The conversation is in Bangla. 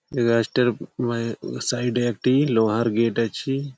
এ গাছটার মায় সাইড -এ একটি লোহার গেট আছে।